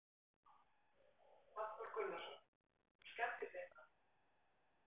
Hafþór Gunnarsson: Og skemmdist eitthvað?